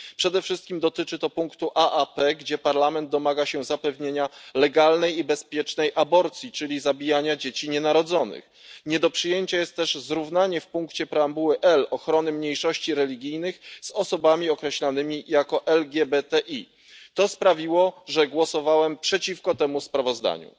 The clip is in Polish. Przede wszystkim dotyczy to punktu aap, w którym Parlament domaga się zapewnienia legalnej i bezpiecznej aborcji, czyli zabijania dzieci nienarodzonych. Nie do przyjęcia jest też zrównanie w punkcie preambuły L ochrony mniejszości religijnych z ochroną osób określonych jako LGBTI. To sprawiło, że głosowałem przeciwko temu sprawozdaniu.